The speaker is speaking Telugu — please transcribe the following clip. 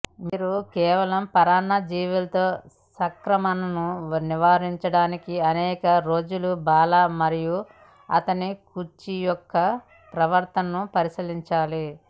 మీరు కేవలం పరాన్నజీవులతో సంక్రమణను నివారించడానికి అనేక రోజులు బాల మరియు అతని కుర్చీ యొక్క ప్రవర్తనను పరిశీలించాలి